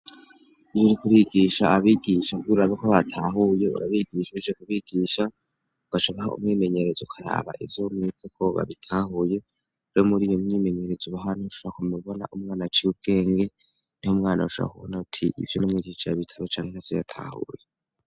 Ibiri kubigisha abigisha bwururagako batahuye urabigishurije kubigisha go acakaho umwimenyereze kayaba ivyomwizekoba bitahuye ro muri iyo mwimenyereza ubahantu ushuha kumubona umwana ciyeubwenge nti ho mwana ushaara kubona uti ivyo n'mwigicaya bitabo canke navo yatahuye.